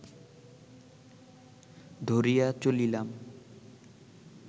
ধরিয়া চলিলাম